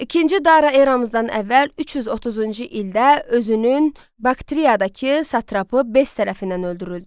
İkinci Dara eramızdan əvvəl 330-cu ildə özünün Bakteriyadakı satrapı Bess tərəfindən öldürüldü.